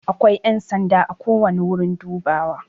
Akwai yan sanda ako wani wurin dubawa.